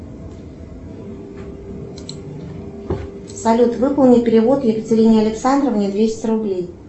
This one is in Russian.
салют выполни перевод екатерине александровне двести рублей